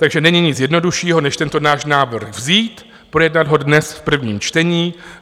Takže není nic jednoduššího než tento náš návrh vzít, projednat ho dnes v prvním čtení.